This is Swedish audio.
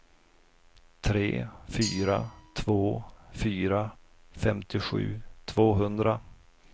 tre fyra två fyra femtiosju tvåhundra